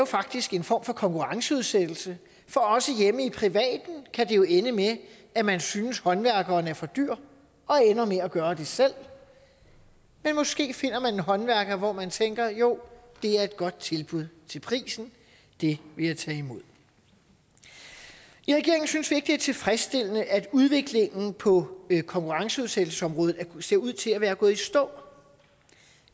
faktisk er en form for konkurrenceudsættelse for også hjemme i privaten kan det jo ende med at man synes håndværkeren er for dyr og ender med at gøre det selv men måske finder man en håndværker hvor man tænker jo det er et godt tilbud til prisen det vil jeg tage imod i regeringen synes vi ikke det er tilfredsstillende at udviklingen på konkurrenceudsættelsesområdet ser ud til at være gået i stå